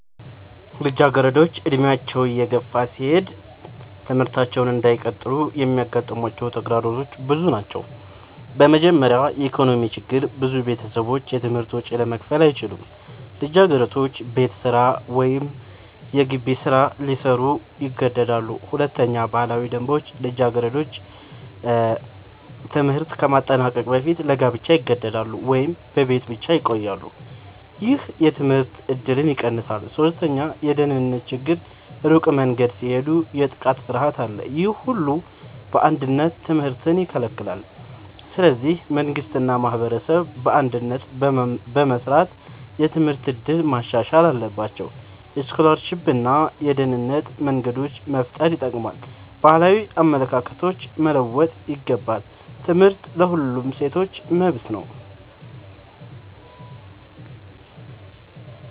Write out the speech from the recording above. ልጃገረዶች ዕድሜያቸው እየገፋ ሲሄድ ትምህርታቸውን እንዳይቀጥሉ የሚያጋጥሟቸው ተግዳሮቶች ብዙ ናቸው። በመጀመሪያ የኢኮኖሚ ችግር ብዙ ቤተሰቦች የትምህርት ወጪ ለመክፈል አይችሉም። ልጃገረዶች ቤት ስራ ወይም የገቢ ስራ ሊሰሩ ይገደዳሉ። ሁለተኛ ባህላዊ ደንቦች ልጃገረዶች ትምህርት ከማጠናቀቅ በፊት ለጋብቻ ይገደዳሉ ወይም በቤት ብቻ ይቆያሉ። ይህ የትምህርት እድልን ይቀንሳል። ሶስተኛ የደህንነት ችግር ሩቅ መንገድ ሲሄዱ የጥቃት ፍርሃት አለ። ይህ ሁሉ በአንድነት ትምህርትን ይከለክላል። ስለዚህ መንግሥት እና ማህበረሰብ በአንድነት በመስራት የትምህርት እድል ማሻሻል አለባቸው። የስኮላርሺፕ እና የደህንነት መንገዶች መፍጠር ይጠቅማል። ባህላዊ አመለካከቶች መለወጥ ይገባል። ትምህርት ለሁሉም ሴቶች መብት ነው።